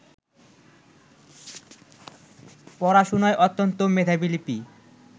পড়াশোনায় অত্যন্ত মেধাবী লিপি